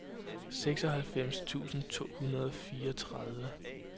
seksoghalvfems tusind to hundrede og fireogtredive